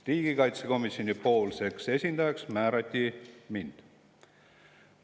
Riigikaitsekomisjoni esindajaks määrati mind.